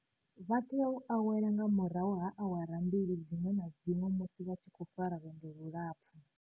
Vha tea u awela nga murahu ha awara mbili dziṅwe na dziṅwe musi vha tshi khou fara lwendo lulapfu.